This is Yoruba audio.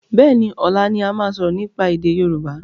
Béení, ọlá ni a máa sọ̀rọ̀ nípa èdè Yorùbá